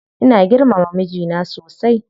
Ina girmama mijina sosai.